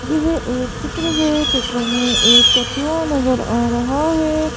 यह एक चित्र है चित्र में एक कछुआ नजर आ रहा है।